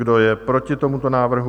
Kdo je proti tomuto návrhu?